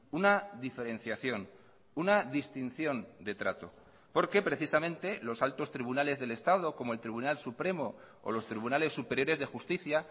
una diferenciación una distinción de trato porque precisamente los altos tribunales del estado como el tribunal supremo o los tribunales superiores de justicia